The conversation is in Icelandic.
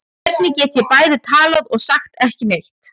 Hvernig get ég bæði talað og sagt ekki neitt?